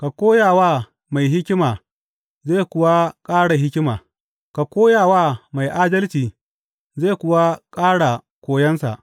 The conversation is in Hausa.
Ka koya wa mai hikima zai kuwa ƙara hikima; ka koya wa mai adalci zai kuwa ƙara koyonsa.